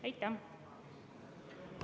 Aitäh!